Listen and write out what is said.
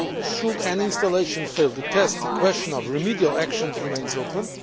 Should any installation fail the test, the question of remedial actions remains open.